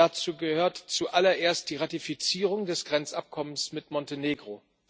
Dazu gehört zuallererst die Ratifizierung des Grenzabkommens mit Montenegro.